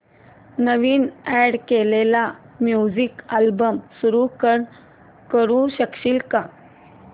नवीन add केलेला music album सुरू करू शकशील का